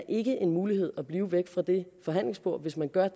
ikke er en mulighed at blive væk fra det forhandlingsbord hvis man gør